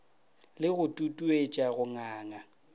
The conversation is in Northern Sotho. le go tutuetša go nganga